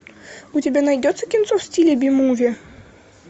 у тебя найдется кинцо в стиле би муви